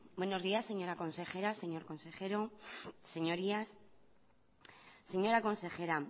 buenos días señora consejera señor consejero señorías señora consejera